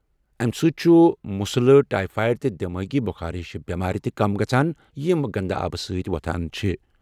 اَمہِ سۭتۍ چھِ مسلہٕ، ٹایفایڈ تہٕ دماغی بخار ہِش بٮ۪مارِ تہِ کم گژھان یِم گنٛدٕ آبہٕ سۭتۍ وَتھان چھِ۔